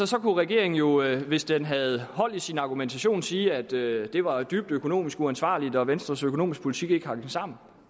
så kunne regeringen jo hvis den havde hold i sin argumentation sige at det var dybt økonomisk uansvarligt og at venstres økonomiske politik ikke hang sammen